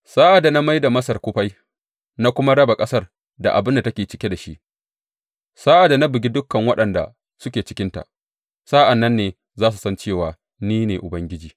Sa’ad da na mai da Masar kufai na kuma raba ƙasar da abin da take cike da shi, sa’ad da na bugi dukan waɗanda suke cikinta, a sa’an nan ne za su san cewa ni ne Ubangiji.’